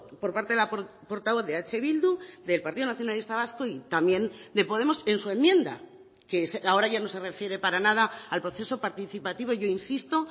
por parte de la portavoz de eh bildu del partido nacionalista vasco y también de podemos en su enmienda que ahora ya no se refiere para nada al proceso participativo yo insisto